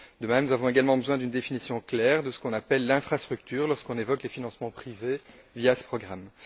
De même, nous avons besoin d'une définition claire de ce qu'on appelle l'infrastructure lorsqu'on évoque les financements privés via ce programme.